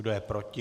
Kdo je proti?